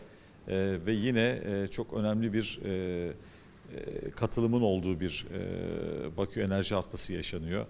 Eee və yenə eee çox önəmli bir eee eee iştirakın olduğu bir eee Bakı Enerji Həftəsi yaşanır.